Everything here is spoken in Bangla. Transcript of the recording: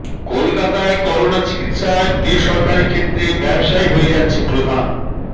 কলকাতায় করোনা চিকিৎসায় বেসরকারি ক্ষেত্রে ব্যবসাই হয়ে যাচ্ছে প্রধান